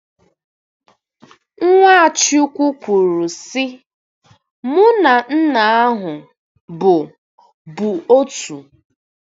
Nwachukwu kwuru, sị: Mụ na Nna ahụ bụ bụ otu.